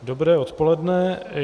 Dobré odpoledne.